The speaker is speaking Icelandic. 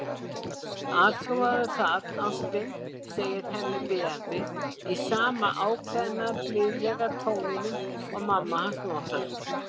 Athugaðu það, ástin, segir Hemmi biðjandi, í sama ákveðna, blíðlega tóninum og mamma hans notar.